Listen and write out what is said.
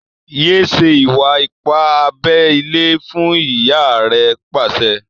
yé ṣe Iwa-ipa abé ilé fún! ìyá rẹ pàṣẹ.